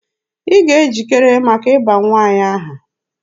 Ị ga-ejikere maka ịba nwa anyị aha!